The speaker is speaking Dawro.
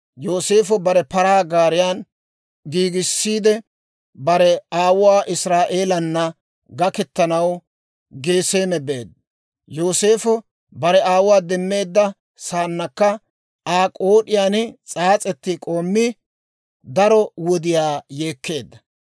Yooseefo bare paraa gaariyaa giigissiide, bare aawuwaa Israa'eelana gaketanaw Geseeme beedda. Yooseefo bare aawuwaa demmeedda saannakka Aa k'ood'iyaan s'aas'etti k'oommi, daro wodiyaa yeekkeedda.